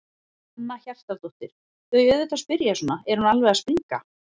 Hanna Hjartardóttir: Þau auðvitað spyrja svona, er hún alveg að springa?